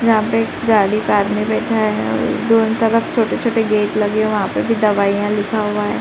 यहाँ पे गाड़ी पे आदमी बैठा है और दो छोटे-छोटे गेट लगे हैं। वहां पे भी दवाइयां लिखा हुआ है।